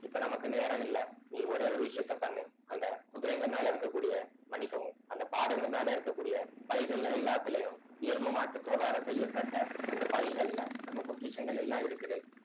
இப்ப நமக்கு நேரம் இல்ல நீ ஒரே ஒரு விஷயத்த பண்ணு அந்த குதிரைங்க மேல இருக்கக்கூடிய மன்னிக்கவும் அந்த பாடைங்க மேல இருக்கக்கூடிய பைகள்ல எல்லாத்துலயும் எரும மாட்டு தோளால செய்யப்பட்ட அந்த பைகள்ல நம்ம பொக்கிஷங்கள் எல்லாம் இருக்குது